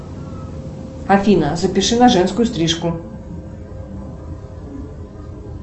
афина запиши на женскую стрижку